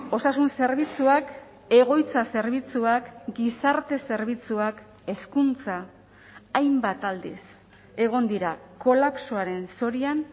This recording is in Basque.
osasun zerbitzuak egoitza zerbitzuak gizarte zerbitzuak hezkuntza hainbat aldiz egon dira kolapsoaren zorian